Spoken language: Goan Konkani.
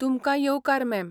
तुमकां येवकार, मॅम.